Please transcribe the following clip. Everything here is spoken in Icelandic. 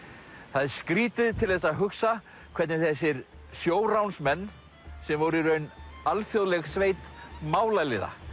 það er skrýtið til þess að hugsa hvernig þessir sjóránsmenn sem voru í raun alþjóðleg sveit málaliða